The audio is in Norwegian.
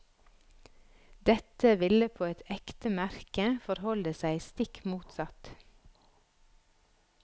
Dette ville på et ekte merke forholde seg stikk motsatt.